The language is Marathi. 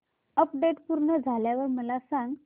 अपडेट पूर्ण झाल्यावर मला सांग